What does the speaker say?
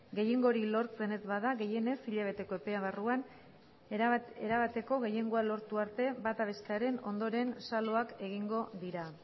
gehiengo hori lortzen ez bada gehienez hilabeteko epearen barruan erabateko gehiengo lortu arte bata bestearen ondoren xaloak egingo dira